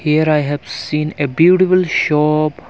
Here I have seen a beautiful shop.